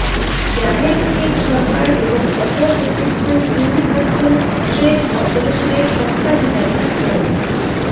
জাহের উদ্দিন সরকার এবং অপর প্রতিষ্ঠান ইউনিভার্সেল ট্রেড করপোরেশনের স্বত্বাধিকারী মো